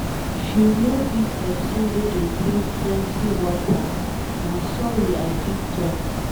If you no be pesin wey dey drink plenty water na sorry I fit talk.